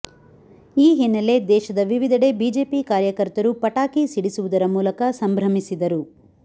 ಈ ಹಿನ್ನೆಲೆ ದೇಶದ ವಿವಿಧೆಡೆ ಬಿಜೆಪಿ ಕಾರ್ಯಕರ್ತರು ಪಟಾಕಿ ಸಿಡಿಸುವುದರ ಮೂಲಕ ಸಂಭ್ರಮಿಸಿದರು